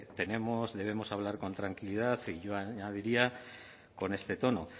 debemos hablar con tranquilidad y yo añadiría con este tono